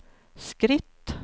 skritt